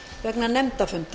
vegna nefndafunda